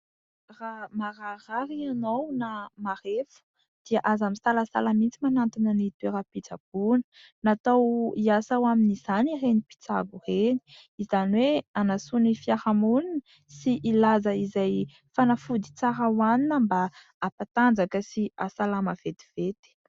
Raha mararirary ianao na marefo dia aza misalasala mihitsy manatona ny toeram-pitsaboana. Natao hiasa ho amin'izany ireny mpitsabo ireny. Izany hoe hanasoa ny fiarahamonina sy hilaza izay fanafody tsara hoanina mba hampatanjaka sy hasalama vetivety.